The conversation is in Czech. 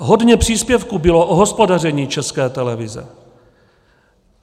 Hodně příspěvků bylo o hospodaření České televize.